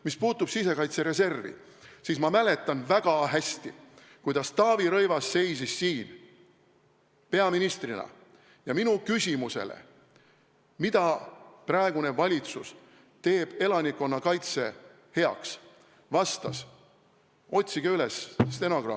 Mis puutub sisekaitse reservi, siis ma mäletan väga hästi, kuidas Taavi Rõivas seisis siin peaministrina ja vastas minu küsimusele, mida praegune valitsus teeb elanikkonna kaitse heaks – otsige stenogramm üles!